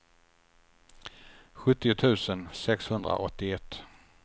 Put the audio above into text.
sjuttio tusen sexhundraåttioett